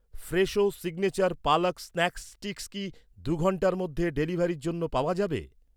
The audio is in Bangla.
Fresho signature palak snack sticks কি, দুই ঘন্টার মধ্যে ডেলিভারির জন্য পাওয়া যাবে?